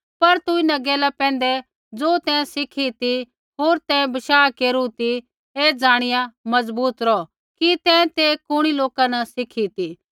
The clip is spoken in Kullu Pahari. पर तू इन्हां गैला पैंधै ज़ो तैं सिखी ती होर तैं बशाह केरू ती ऐ ज़ाणिया मजबूत रौह कि तैं ते कुणी लोका न सिखी ती